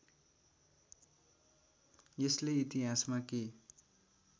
यसले इतिहासमा के